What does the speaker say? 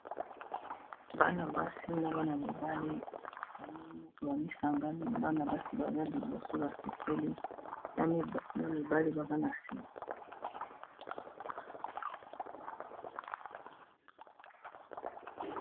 Bana basi na bana mibali basangani bana basi baza liboso basepeli na bana mibali baza na sima.